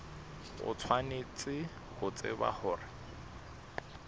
o tshwanetse ho tseba hore